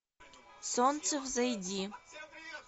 солнце взойди